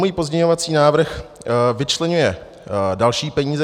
Můj pozměňovací návrh vyčleňuje další peníze.